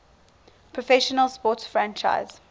professional sports franchise